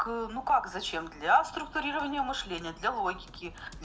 к ну как зачем для структурирования мышления для логики